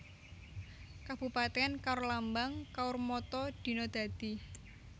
Kabupatèn KaurLambang KaurMotto Dina Dadi